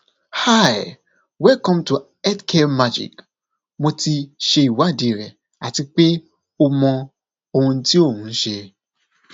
hi welcome to healthcare magic mo ti ṣe ìwádìí rẹ ati pe o mọ ohun ti o n ṣe